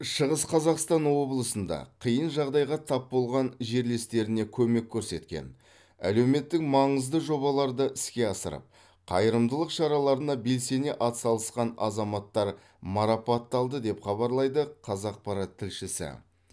шығыс қазақстан облысында қиын жағдайға тап болған жерлестеріне көмек көрсеткен әлеуметтік маңызды жобаларды іске асырып қайырымдылық шараларына белсене атсалысқан азаматтар марапатталды деп хабарлайды қазақпарат тілшісі